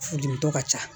Furudimitɔ ka ca